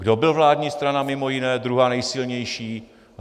Kdo byl vládní strana mimo jiné, druhá nejsilnější?